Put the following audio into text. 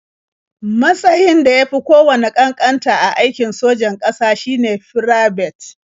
Matsayn da ya fi kowanne ƙanƙanta a aikin sojan ƙasa shine Firabet.